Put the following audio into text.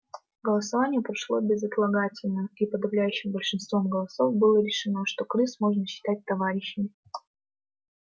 голосование прошло безотлагательно и подавляющим большинством голосов было решено что крыс можно считать товарищами